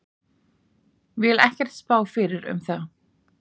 Vil ekkert spá fyrir um það.